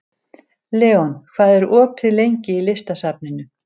Leon, hvað er opið lengi í Listasafninu?